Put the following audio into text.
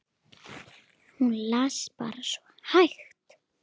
Hún las bara svo hægt.